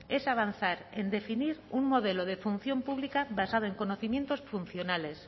es avanzar en definir un modelo de función pública basado en conocimientos funcionales